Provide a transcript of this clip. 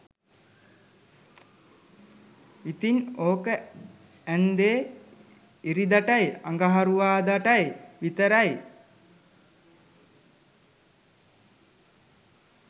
ඉතින් ඕක ඇන්දෙ ඉරිදටයි අඟහරුවාදටයි විතරයි